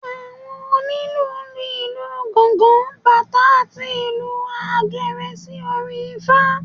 Àwọn onílù lu ìlù gángán, batá àti ìlù àgẹ̀rẹ̀ sí orin ifá.